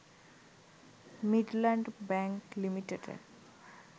Midland Bank লিমিটেডের